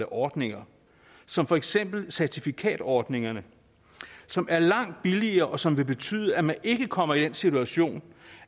ordninger som for eksempel certifikatordningerne som er langt billigere og som vil betyde at man ikke kommer i den situation